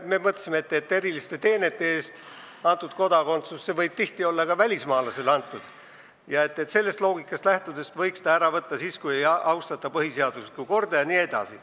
Me mõtlesime, et eriliste teenete eest antud kodakondsuse, mis võib tihti olla antud ka välismaalasele, võiks sellest loogikast lähtudes ära võtta siis, kui ei austata põhiseaduslikku korda jne.